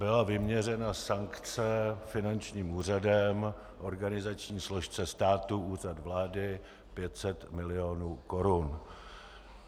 Byla vyměřena sankce finančním úřadem organizační složce státu Úřad vlády 500 milionů korun.